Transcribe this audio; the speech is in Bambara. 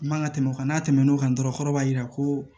N man ka tɛmɛ o kan n'a tɛmɛn'o kan dɔrɔn kɔrɔ b'a jira ko